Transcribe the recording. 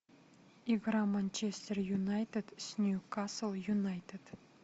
игра манчестер юнайтед с ньюкасл юнайтед